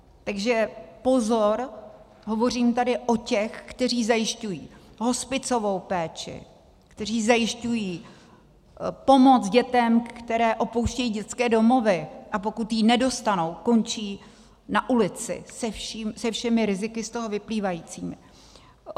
Takže pozor - hovořím tady o těch, kteří zajišťují hospicovou péči, kteří zajišťují pomoc dětem, které opouštějí dětské domovy, a pokud ji nedostanou, končí na ulici se všemi riziky z toho vyplývajícími.